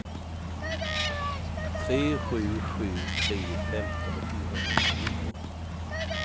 tre sju sju tre femton fyrahundranio